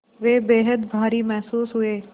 वे बेहद भारी महसूस हुए